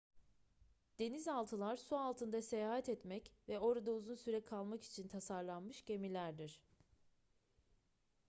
denizaltılar su altında seyahat etmek ve orada uzun süre kalmak için tasarlanmış gemilerdir